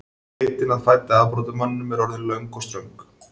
Leitin að fædda afbrotamanninum er orðin löng og ströng.